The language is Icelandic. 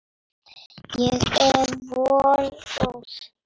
Ég er vongóð.